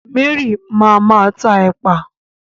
Mary ma máa tá ẹ̀pà